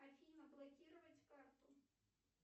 афина блокировать карту